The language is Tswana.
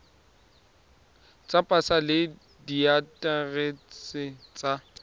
tsa pasa le diaterese tsa